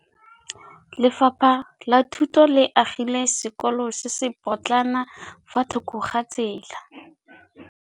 Lefapha la Thuto le agile sekôlô se se pôtlana fa thoko ga tsela.